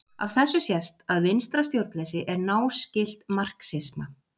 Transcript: Af þessu sést að vinstra stjórnleysi er náskylt marxisma.